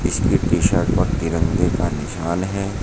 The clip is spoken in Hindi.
इसके टी शर्ट पर तिरंगे का निशान है।